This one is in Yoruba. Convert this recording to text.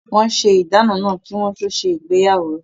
Wọ́n ṣe ìdáná náà kí wọ́n tó se ìgbéyàwó